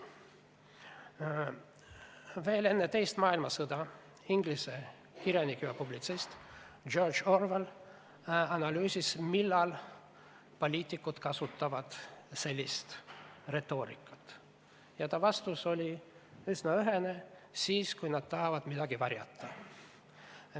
Enne teist maailmasõda inglise kirjanik ja publitsist George Orwell analüüsis, millal poliitikud sellist retoorikat kasutavad, ja tema vastus oli üsna ühene: siis, kui nad tahavad midagi varjata.